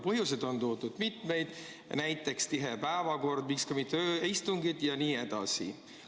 Põhjuseid on toodud mitmeid, näiteks tihe päevakord, miks ka mitte ööistungid jne.